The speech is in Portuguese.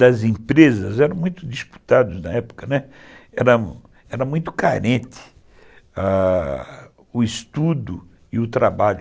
das empresas eram muito disputados na época, né, era muito carente ãh... o estudo e o trabalho.